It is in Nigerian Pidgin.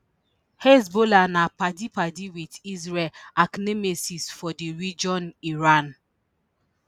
hezbollah na padipadi with israel archnemesis for di region iran